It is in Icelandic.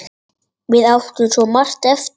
Við áttum svo margt eftir.